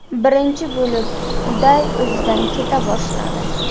Birinchi bo‘lib Uday o‘zidan keta boshladi.